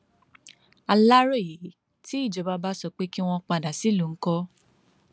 aláròyé tí ìjọba bá sọ pé kí wọn padà sílùú ńkọ